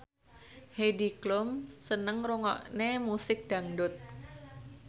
Heidi Klum seneng ngrungokne musik dangdut